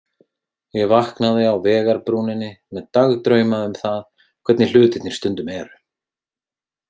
Ég vaknaði á vegarbrúninni, með dagdrauma um það hvernig hlutirnir stundum eru.